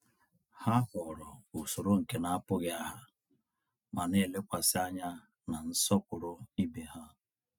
Ha họọrọ usoro nke na-apụtaghị aha, ma na-elekwasị anya na nsọpụrụ ibe ha.